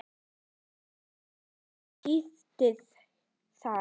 Tíðindi hér og tíðindi þar.